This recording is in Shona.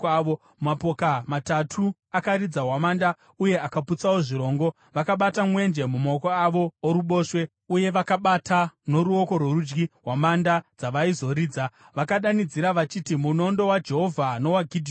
Mapoka matatu akaridza hwamanda uye akaputsawo zvirongo. Vakabata mwenje mumaoko avo oruboshwe uye vakabata noruoko rworudyi hwamanda dzavaizoridza, vakadanidzira vachiti, “Munondo waJehovha nowaGidheoni!”